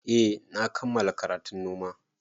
Eh na kammala karatun noma